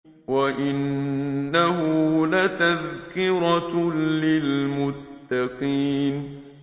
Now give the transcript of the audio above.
وَإِنَّهُ لَتَذْكِرَةٌ لِّلْمُتَّقِينَ